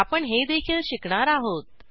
आपण हेदेखील शिकणार आहोत